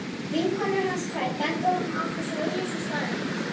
Vinkonur hans tvær benda honum á þessa augljósu staðreynd.